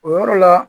O yɔrɔ la